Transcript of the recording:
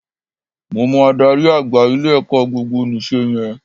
Mo mọ adarí àgbà ilé-ẹ̀kọ́ gbogbonìse yẹn